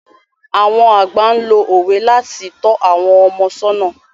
Àwọn àgbà lo òwe láti tọ́ àwọn ọmọ sọ́nà.